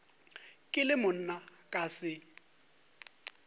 ke le monna ka se